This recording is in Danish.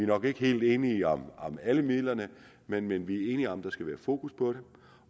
nok ikke helt enige om alle midlerne men vi er enige om at der skal være fokus på det